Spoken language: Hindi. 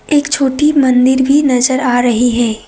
एक छोटी मंदिर भी नजर आ रही है।